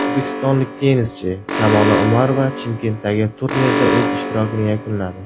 O‘zbekistonlik tennischi Kamola Umarova Chimkentdagi turnirda o‘z ishtirokini yakunladi.